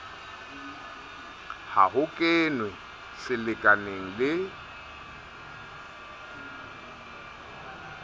ha ho kenwe selekaneng le